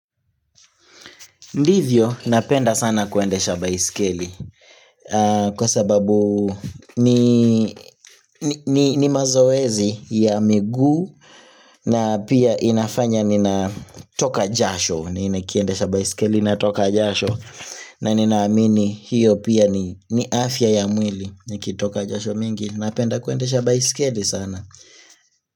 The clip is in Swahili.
Ndivyo, napenda sana kuendesha baisikeli kwa sababu ni mazoezi ya miguu na pia inafanya ninatoka jasho, nikiendesha baisikeli natoka jasho na ninaamini hiyo pia ni afya ya mwili, nikitoka jasho mingi, napenda kuendesha baisikeli sana.